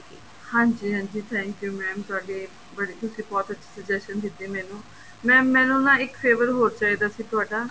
ਹਾਂਜੀ ਹਾਂਜੀ thank you mam ਤੁਹਾਡੇ ਤੁਸੀਂ ਬਹੁਤ ਅੱਛੀ suggestion ਦਿੱਤੀ ਮੈਨੂੰ mam ਮੈਨੂੰ ਨਾ ਇੱਕ favor ਹੋਰ ਚਾਹੀਦਾ ਸੀ ਤੁਹਾਡਾ